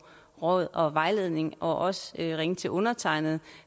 råd og vejledning og også ringe til undertegnede